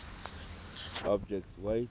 object s weight